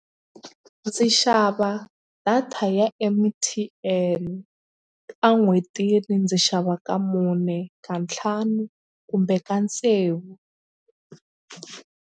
Ndzi xava data ya M_T_N a n'hwetini ndzi xava ka mune ka ntlhanu kumbe tsevu.